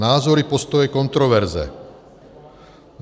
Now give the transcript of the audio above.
Názory, postoje, kontroverze.